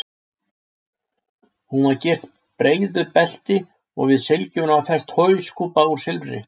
Hún var gyrt breiðu belti og við sylgjuna var fest hauskúpa úr silfri.